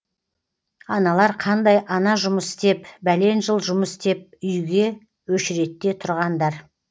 аналар қандай ана жұмыс істеп бәлен жыл жұмыс істеп үй үйге өшіредте тұрғандар